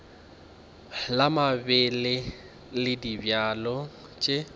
la mabele le dibjalo tše